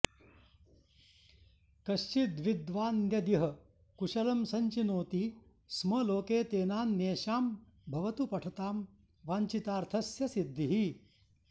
कश्चिद्विद्वान्यदिह कुशलं सञ्चिनोति स्म लोके तेनान्येषां भवतु पठतां वान्छितार्थस्यसिद्धिः